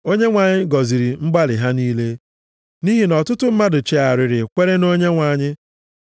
Onyenwe anyị gọziri mgbalị ha niile. Nʼihi na ọtụtụ mmadụ chegharịrị kwere nʼOnyenwe anyị.